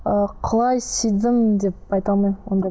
ы құлай сүйдім деп айта алмаймын ондай